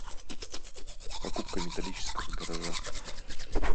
покупка металлического гаража